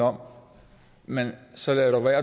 om men så lad dog være